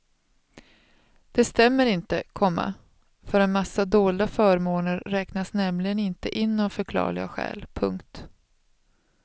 Det stämmer inte, komma för en massa dolda förmåner räknas nämligen inte in av förklarliga skäl. punkt